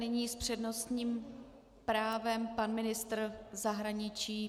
Nyní s přednostním právem pan ministr zahraničí.